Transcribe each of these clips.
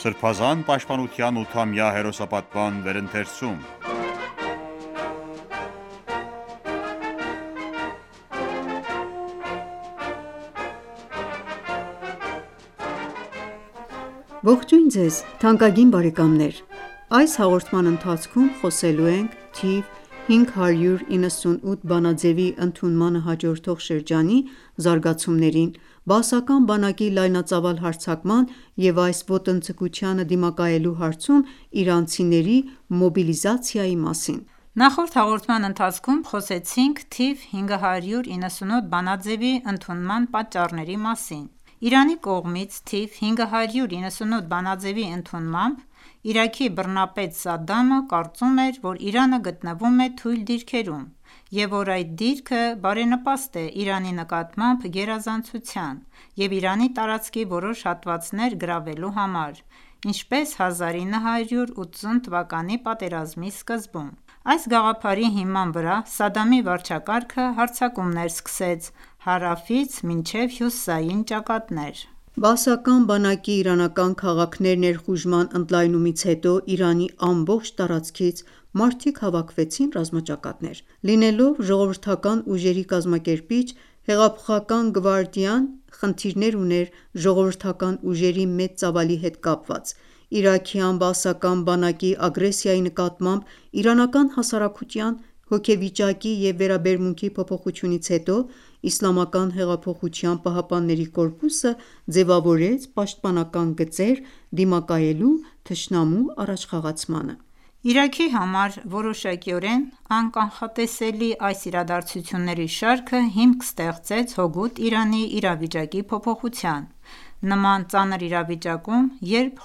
Սրբազան պաշտպանության 8-ամյա հերոսապատման վերընթերցում (105) Ողջույն ձեզ թանկագին բարեկամներ: Այս հաղորդման ընթացքում խոսելու ենք թիվ 598 բանաձևի ընդունմանը հաջորդող շրջանի զարգացումների, բաասական բանակի լայնածավալ հարձակման և այս ոտնձգությանը դիմակայելու հարցում իրանցիների մոբիլիզացիայի մասին: Նախորդ հաղորդման ընթացքում խոսեցինք թիվ 598 բանաձևի ընդունման պատճառների մասին: Իրանի կողմից թիվ 598 բանաձևի ընդունմամբ, Իրաքի բռնապետ Սադդամը կարծում էր, որ Իրանը գտնվում է թույլ դիրքերում, և որ այդ դիրքը բարենպաստ է Իրանի նկատմամբ գերազանցության և Իրանի տարածքի որոշ հատվածներ գրավելու համար, ինչպես 1980թ. պատերազմի սկզբում: Այս գաղափարի հիման վրա Սադամի վարչակարգը հարձակումներ սկսեց հարավից մինչև հյուսիսային ճակատներ։ Բաասական բանակի իրանական քաղաքներ ներխուժման ընդլայնումից հետո Իրանի ամբողջ տարածքից մարդիկ հավաքվեցին ռազմաճակատներ: Լինելով ժողովրդական ուժերի կազմակերպիչ՝ Հեղափոխական գվարդիան խնդիրներ ուներ ժողովրդական ուժերի մեծ ծավալի հետ կապված։ Իրաքյան բաասական բանակի ագրեսիայի նկատմամբ իրանական հասարակության հոգեվիճակի և վերաբերմունքի փոփոխությունից հետո, Իսլամական հեղափոխության պահապանների կորպուսը ձևավորեց պաշտպանական գծեր՝ դիմակայելու թշնամու առաջխաղացմանը: Իրաքի համար որոշակիորեն անկանխատեսելի այս իրադարձությունների շարքը հիմք ստեղծեց հօգուտ Իրանի իրավիճակի փոփոխության։ Նման ծանր իրավիճակում, երբ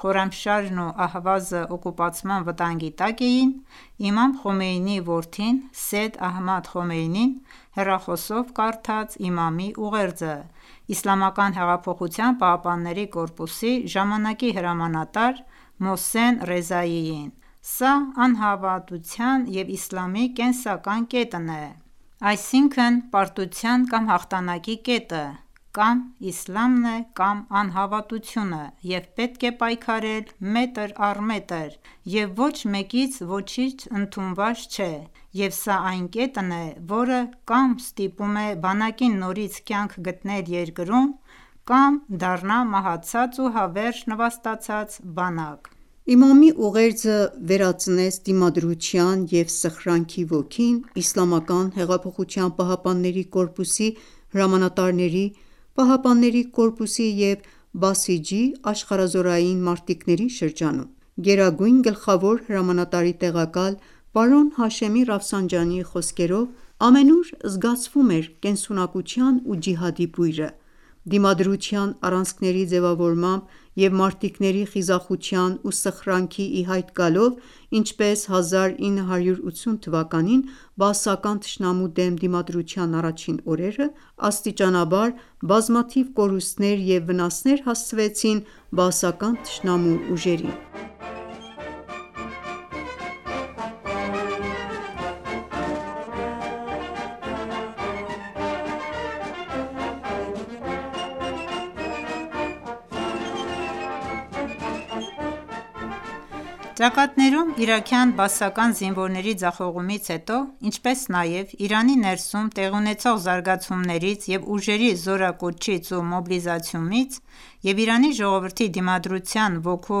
Խորամշահրն ու Ահվազը օկուպացման վտանգի տակ էին, Իմամ Խոմեյնիի որդին՝ Սեյյեդ Ահմադ Խոմեյնին, հեռախոսով կարդաց Իմամի ուղերձը ԻՀՊԿ-ի ժամանակի հրամանատար Մոհսեն Ռեզաիին.«Սա անհավատության և իսլամի կենսական կետն է: Այսինքն՝ պարտության կամ հաղթանակի կետը կա՛մ իսլամն է, կա՛մ անհավատությունը, և պետք է պայքարել մետր առ մետր, և ոչ մեկից ոչինչ ընդունված չէ, և սա այն կետն է, որը կա՛մ ստիպում է բանակին նորից կյանք գտնել երկրում, կա՛մ դառնա մահացած ու հավերժ նվաստացած բանակ»: Իմամի ուղերձը վերածնեց դիմադրության և սխրանքի ոգին ԻՀՊԿ-ի հրամանատարների, պահապանների կորպուսի և բասիջի(աշխարհազորային) մարտիկների շրջանում: Գերագույն գլխավոր հրամանատարի տեղակալ պարոն Հաշեմի Ռաֆսանջանիի խոսքերով՝ ամենուր զգացվում էր կենսունակության ու ջիհադի բույրը։ Դիմադրության առանցքների ձևավորմամբ և մարտիկների խիզախության ու սխրանքի ի հայտ գալով, ինչպես 1980-ին բաասական թշնամու դեմ դիմադրության առաջին օրերը, աստիճանաբար բազմաթիվ կորուստներ և վնասներ հասցվեցին բաասական թշնամու ուժերին: Ճակատներում իրաքյան բաասական զինվորների ձախողումից հետո, ինչպես նաև Իրանի ներսում տեղի ունեցող զարգացումներից և ուժերի զորակոչից ու մոբիլիզացումից և Իրանի ժողովրդի դիմադրության ոգու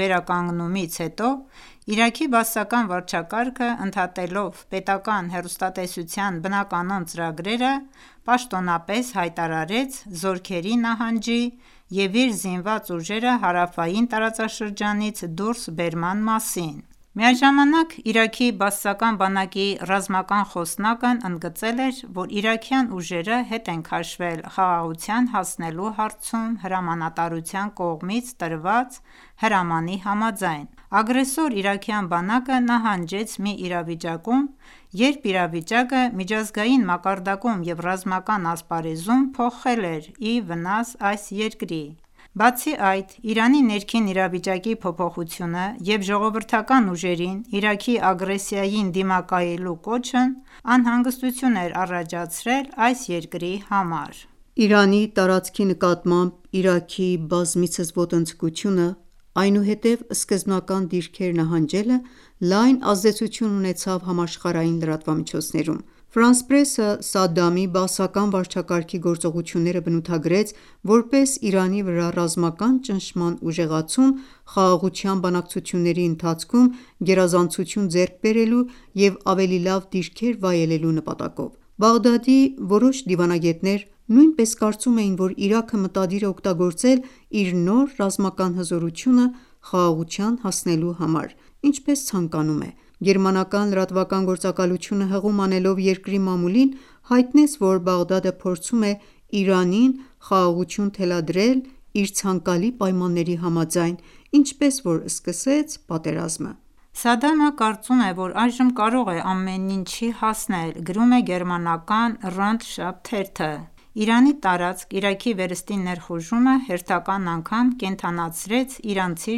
վերականգնումից հետո, Իրաքի բաասական վարչակարգը ընդհատելով պետականհեռուստատեսության բնականոն ծրագրերը պաշտոնապես հայտարարեց զորքերի նահանջի և իր զինված ուժերը հարավային տարածաշրջանից դուրսբերման մասին: Միաժամանակ, Իրաքի բաասական բանակի ռազմական խոսնակն ընդգծել էր, որ իրաքյան ուժերը հետ են քաշվել խաղաղության հասնելու հարցում հրամանատարության կողմից տրված հրամանի համաձայն։ Ագրեսոր իրաքյան բանակը նահանջեց մի իրավիճակում, երբ իրավիճակը միջազգային մակարդակում և ռազմական ասպարեզում փոխվել էր ի վնաս այս երկրի։ Բացի այդ, Իրանի ներքին իրավիճակի փոփոխությունը և ժողովրդական ուժերին Իրաքի ագրեսիային դիմակայելու կոչն անհանգստություն էր առաջացրել այս երկրի համար։ Իրանի տարածքի նկատմամբ Իրաքի բազմիցս ոտնձգությունը, այնուհետև սկզբնական դիրքեր նահանջելը լայն ազդեցություն ունեցավ համաշխարհային լրատվամիջոցներում։ «Ֆրանս պրես»-ը Սադամի բաասական վարչակարգի գործողությունները բնութագրեց որպես Իրանի վրա ռազմական ճնշման ուժեղացում՝ խաղաղության բանակցությունների ընթացքում գերազանցություն ձեռք բերելու և ավելի լավ դիրքեր վայելելու նպատակով։ Բաղդադի որոշ դիվանագետներ նույնպես կարծում էին, որ Իրաքը մտադիր է օգտագործել իր նոր ռազմական հզորությունը խաղաղության հասնելու համար, ինչպես ցանկանում է: Գերմանական լրատվական գործակալությունը, հղում անելով երկրի մամուլին, հայտնեց, որ Բաղդադը փորձում է Իրանին խաղաղություն թելադրել իր ցանկալի պայմանների համաձայն, ինչպես որ սկսեց պատերազմը։ «Սադամը կարծում է, որ այժմ կարող է ամեն ինչի հասնել»,- գրում է գերմանական «Ronde Shaw» թերթը։ Իրանի տարածք Իրաքի վերստին ներխուժումը հերթական անգամ կենդանացրեց իրանցի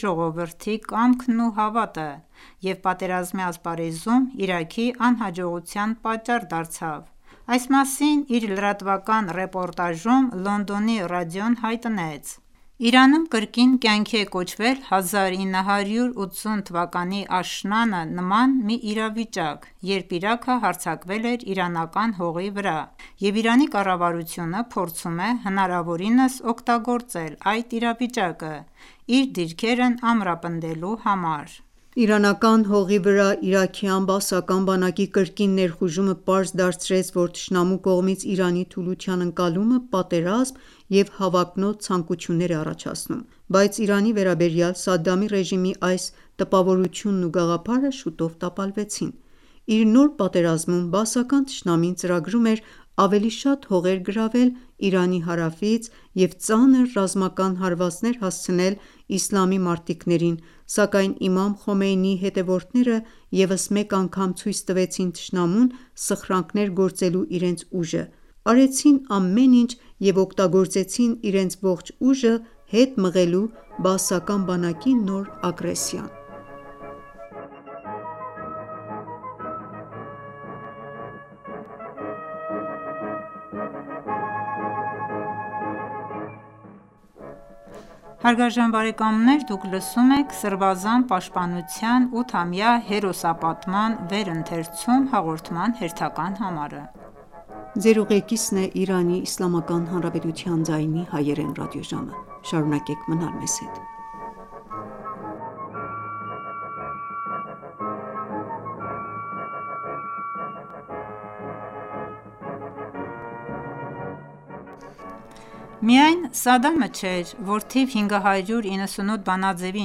ժողովրդի կամքն ու հավատը և պատերազմի ասպարեզում Իրաքի անհաջողության պատճառ դարձավ։ Այս մասին իր լրատվական ռեպորտաժում Լոնդոնի ռադիոն հայտնեց.«Իրանում կրկին կյանքի է կոչվել 1980-ի աշնանը նման մի իրավիճակ, երբ Իրաքը հարձակվել էր իրանական հողի վրա, և Իրանի կառավարությունը փորձում է հնարավորինս օգտագործել այդ իրավիճակը՝ իր դիրքերն ամրապնդելու համար»: Իրանական հողի վրա իրաքյան բաասական բանակի կրկին ներխուժումը պարզ դարձրեց, որ «թշնամու կողմից Իրանի թուլության ընկալումը» պատերազմ և հավակնոտ ցանկություններ է առաջացնում: Բայց Իրանի վերաբերյալ Սադամի ռեժիմի այս տպավորությունն ու գաղափարը շուտով տապալվեց։ Իր նոր պատերազմում բաասական թշնամին ծրագրում էր ավելի շատ հողեր գրավել Իրանի հարավից և ծանր ռազմական հարվածներ հասցնել իսլամի մարտիկներին, սակայն Իմամ Խոմեյնիի հետևորդները ևս մեկ անգամ ցույց տվեցին թշնամուն սխրանքներ գործելու իրենց ուժը, արեցին ամեն ինչ և օգտագործեցին իրենց ողջ ուժը՝ հետ մղելու բաասական բանակի նոր ագրեսիան: Միայն Սադամը չէր, որ թիվ 598 բանաձեւի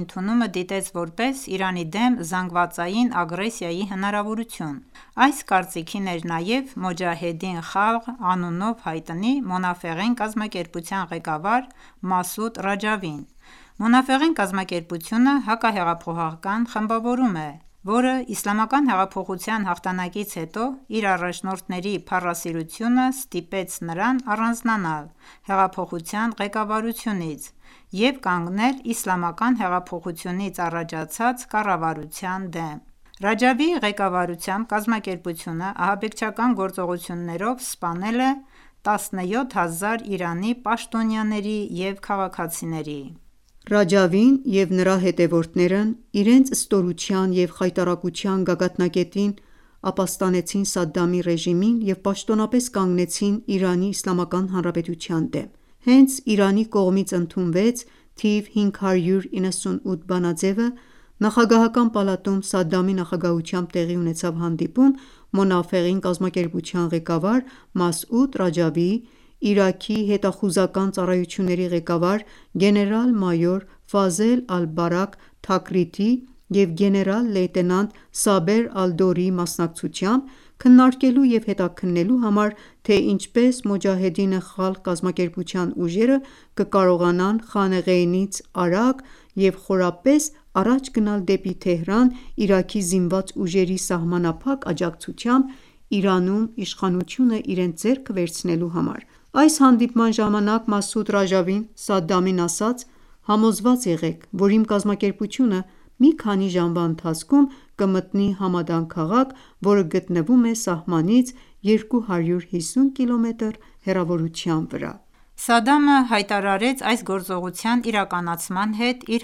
ընդունումը դիտեց որպես Իրանի դեմ զանգվածային ագրեսիայի հնարավորություն։ Այս կարծիքին էր նաև Մոջահեդին Խալղ անունով հայտնի Մոնաֆեղին կազմակերպության ղեկավար Մասուդ Ռաջավին։ «Մոնաֆեղին» կազմակերպությունը հակահեղափոխական խմբավորում է, որը Իսլամական հեղափոխության հաղթանակից հետո իր առաջնորդների փառասիրությունը ստիպեց նրան առանձնանալ հեղափոխության ղեկավարությունից և կանգնել իսլամական հեղափոխությունից առաջացած կառավարության դեմ: Ռաջավիի ղեկավարությամբ կազմակերպությունը ահաբեկչական գործողություններով սպանել է 17 հազար Իրանի պաշտոնյաների և քաղաքացիների։ Ռաջավին և նրա հետևորդները իրենց ստորության և խայտառակության գագաթնակետին ապաստանեցին Սադամի ռեժիմին և պաշտոնապես կանգնեցին Իրանի Իսլամական Հանրապետության դեմ: Հենց Իրանի կողմից ընդունվեց 598 բանաձևը, նախագահական պալատում Սադամի նախագահությամբ տեղի ունեցավ հանդիպում Մոնաֆեղին կազմակերպության ղեկավար Մասուդ Ռաջավիի, Իրաքի հետաղուզական ծառայությունների ղեկավար գեներալ-մայոր Ֆազել ալ-Բարաք Թաքրիտիի և գեներալ-լեյտենանտ Սաբեր Ալ-Դորիի մասնակցությամբ՝ քննարկելու և հետաքննելու համար, թե ինչպես Մոջահեդին Խալղ կազմակերպության ուժերը կկարողանան Խանեղեյնից արագ և խորապես առաջ գնալ դեպի Թեհրան՝ Իրաքի զինված ուժերի սահմանափակ աջակցությամբ՝ Իրանում իշխանությունը իրենց ձեռքը վերցնելու համար: Այս հանդիպման ժամանակ Մասուդ Ռաջավին Սադամին ասաց.«Համոզված եղեք, որ իմ կազմակերպությունը մի քանի ժամվա ընթացքում կմտնի Համադան քաղաք, որը գտնվում է սահմանից 250 կիլոմետր հեռավորության վրա»: Սադամը հայտարարեց այս գործողության իրականացման հետ իր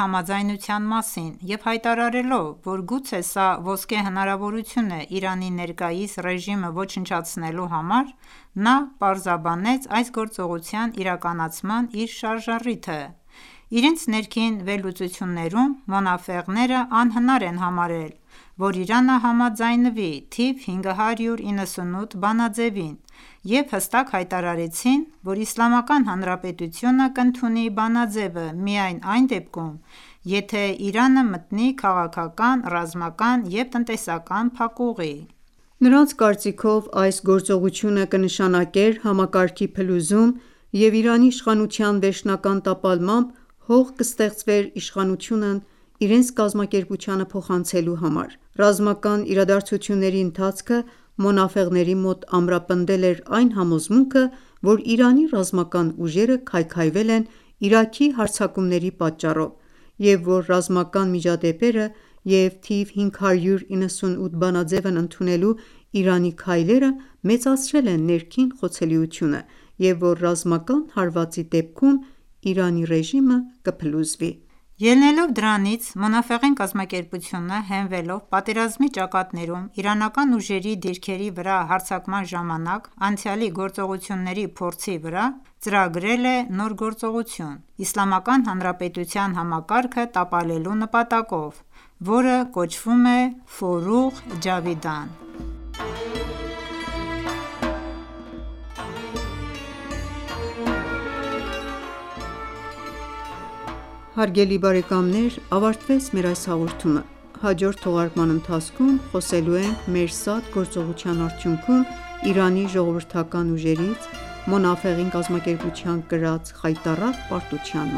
համաձայնության մասին և հայտարարելով, որ «գուցե սա ոսկե հնարավորություն է Իրանի ներկայիս ռեժիմը ոչնչացնելու համար», նա պարզաբանեց այս գործողության իրականացման իր շարժառիթը։ Իրենց ներքին վերլուծություններում մոնաֆեղները անհնար են համարել, որ Իրանը համաձայնվի թիվ 598 բանաձեւին և հստակ հայտարարեցին, որ Իսլամական Հանրապետությունը կընդունի բանաձեւը միայն այն դեպքում, եթե Իրանը մտնի քաղաքական, ռազմական և տնտեսական փակուղի։ Նրանց կարծիքով՝ այս գործողությունը կնշանակեր համակարգի փլուզում եւ Իրանի իշխանության վերջնական տապալմամբ՝ հող կստեղծվեր իշխանությունն իրենց կազմակերպությանը փոխանցելու համար։ Ռազմական իրադարձությունների ընթացքը մոնաֆեղների մոտ ամրապնդել էր այն համոզմունքը, որ Իրանի ռազմական ուժերը քայքայվել են Իրաքի հարձակումների պատճառով, և որ ռազմական միջադեպերը և 598 բանաձևն ընդունելու Իրանի քայլերը մեծացրել են ներքին խոցելիությունը, և որ ռազմական հարվածի դեպքում Իրանի ռեժիմը կփլուզվի: Ելնելով դրանից՝ Մոնաֆեղին կազմակերպությունը, հենվելով պատերազմի ճակատներում իրանական ուժերի դիրքերի վրա հարձակման ժամանակ անցյալի գործողությունների փորձի վրա, ծրագրել է նոր գործողություն՝ Իսլամական Հանրապետության համակարգը տապալելու նպատակով, որը կոչվում է «Ֆորուղ Ջավիդան» (Հավիտենական լուսավորություն)։ Հարգելի բարեկամներ ավարտվեց մեր այս հաղորդումը: Հաջորդ թողարկման ընթացքում կխոսենք Մերսադ գործողության արդյունքում Իրանի ժողովրդական ուժերից, Մոնաֆեղին կազմակերպության կրած խայտառակ պարտության